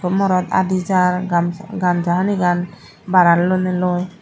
morot aadi jar gam gamsa hanigan barat lonei loi.